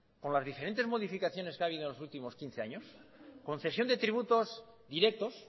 con las diferentes modificaciones que ha habido en los últimos quince años concesión de tributos directos